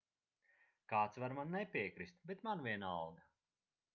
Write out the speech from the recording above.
kāds var man nepiekrist bet man vienalga